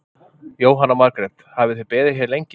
Jóhanna Margrét: Hafið þið beðið hér lengi?